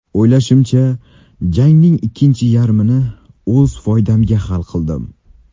O‘ylashimcha, jangning ikkinchi yarmini o‘z foydamga hal qildim.